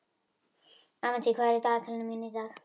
Avantí, hvað er í dagatalinu mínu í dag?